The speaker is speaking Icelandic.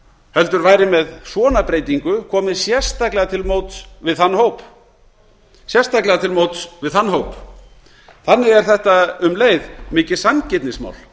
heldur væri með svona breytingu komið sérstaklega til móts við þann hóp þannig er þetta um leið mikið sanngirnismál